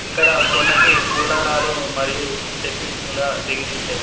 ఇక్కడ కొండకి పూలరాలు మరియు డెకరేషన్ లా దిగతీశారు.